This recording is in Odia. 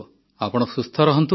ଆପଣ ସୁସ୍ଥ ରୁହନ୍ତୁ